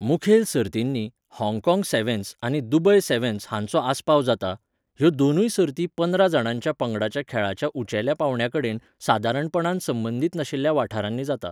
मुखेल सर्तींनी, हाँगकाँग सॅव्हन्स आनी दुबय सॅव्हन्स हांचो आस्पाव जाता, ह्यो दोनूय सर्ती पंदरा जाणांच्या पंगडाच्या खेळाच्या उंचेल्या पांवड्या कडेन सादारणपणान संबंदीत नाशिल्ल्या वाठारांनी जातात.